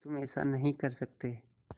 कि तुम ऐसा नहीं कर सकते